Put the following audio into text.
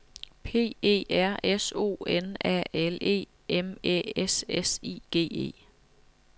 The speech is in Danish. P E R S O N A L E M Æ S S I G E